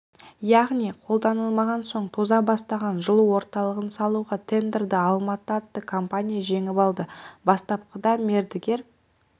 яғни қолданылмаған соң тоза бастаған жылу орталығын салуға тендерді алматы атты компания жеңіп алады бастапқыда мердігер